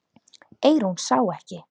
Eyrún sá ekki.